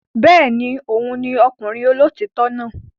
Bẹ́ẹ̀ ni, òun ni ọkùnrin olóòótọ́ náà.